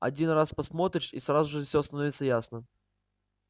один раз посмотришь и сразу же всё становится ясно